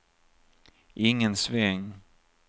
ingen sväng